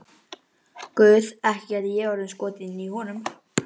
Guð, ekki gæti ég orðið skotin í honum.